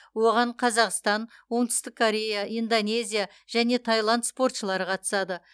оған қазақстан оңтүстік корея индонезия және таиланд спортшылары қатысады